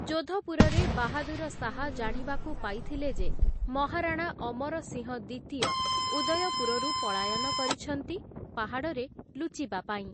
ଯୋଧପୁରରେ ବାହାଦୁର ଶାହ ଜାଣିବାକୁ ପାଇଥିଲେ ଯେ ମହାରାଣା ଅମର ସିଂହ ଦ୍ୱିତୀୟ ଉଦୟପୁରରୁ ପଳାୟନ କରିଛନ୍ତି, ପାହାଡ଼ରେ ଲୁଚିବା ପାଇଁ ।